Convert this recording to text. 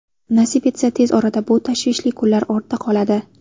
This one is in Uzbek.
Nasib etsa, tez orada bu tashvishli kunlar ortda qoladi.